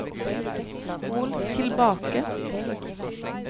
spol tilbake